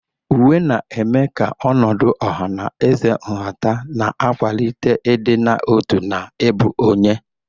Uwe na-eme ka ọnọdụ ọha na eze nhata, na-akwalite ịdị n'otu na ịbụ onye.